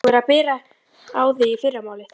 Þú verður að bera á þig í fyrramálið.